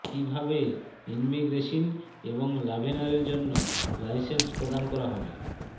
কীভাবে ইনমিগ্রেসিন এবং লভেনারের জন্য লাইসেন্স প্রদান করা হবে